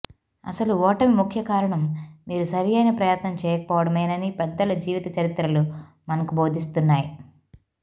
అసలు ఓటమి ముఖ్యకారణం మీరు సరియైన ప్రయత్నం చేయకపోవడమేనని పెద్దల జీవిత చరిత్రలు మనకు బోధిస్తున్నాయి